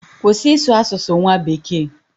Kwụsị ịsụ asụsụ nwa bekee!